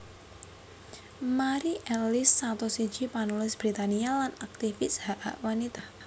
Mari Ellis satus siji panulis Britania lan aktivis hak hak wanita